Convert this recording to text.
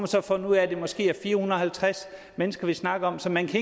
så fundet ud af at det måske er fire hundrede og halvtreds mennesker vi snakker om så man kan